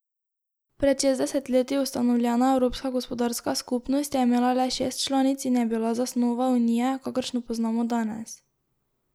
Pred šestdeset leti ustanovljena Evropska gospodarska skupnost je imela le šest članic in je bila zasnova Unije, kakršno poznamo danes.